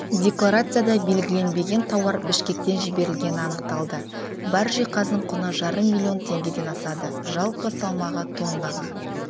декларацияда белгіленбеген тауар бішкектен жіберілгені анықталды бар жиһаздың құны жарым миллион теңгеден асады жалпы салмағы тоннаға